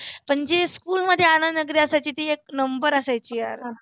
पण जे school मध्ये आनंद नगरी असायची ती एक number असायची यार.